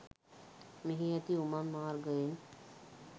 මෙහි ඇති උමං මාර්ගයෙන්